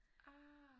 Ah!